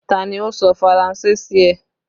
Ta ni ó sọ Faranse sí ẹ?